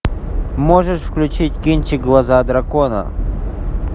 можешь включить кинчик глаза дракона